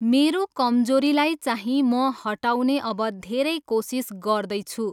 मेरो कमजोरीलाई चाहिँ म हटाउने अब धेरै कोसिस गर्दैछु।